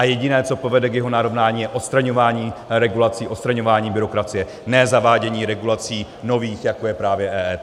A jediné, co povede k jeho narovnání, je odstraňování regulací, odstraňování byrokracie, ne zavádění regulací nových, jako je právě EET.